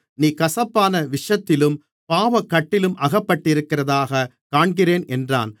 நீ கசப்பான விஷத்திலும் பாவக்கட்டிலும் அகப்பட்டிருக்கிறதாகக் காண்கிறேன் என்றான்